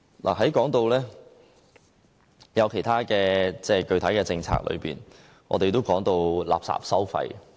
我們在說其他具體政策時，都說到垃圾徵費。